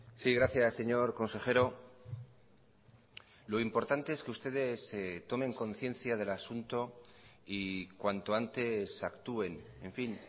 sí gracias señor consejero lo importante es que ustedes tomen conciencia del asunto y cuanto antes actúen en fin